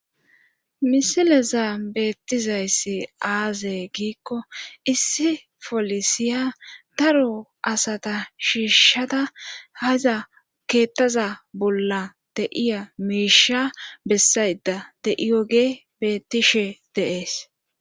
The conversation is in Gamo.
misileza bettizayssi aaze giikko issi polisiya daro asata shiishshada haza keettaza bolla deiya miisha bessayda de7iyoge bettishe deees